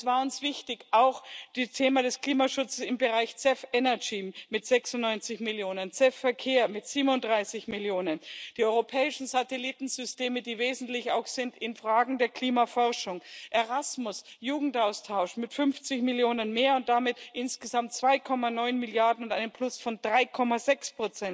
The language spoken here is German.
Aber es war uns wichtig, auch das Thema des Klimaschutzes im Bereich CEF Energy mit 96 Millionen EUR, CEF Verkehr mit 37 Millionen EUR, die europäischen Satellitensysteme, die auch wesentlich sind in Fragen der Klimaforschung, Erasmus Jugendaustausch mit 50 Millionen EUR mehr und damit insgesamt 2,9 Milliarden EUR und einem Plus von 3,6